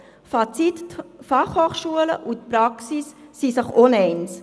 Fazit: Die FH und die Praxis sind sich uneins.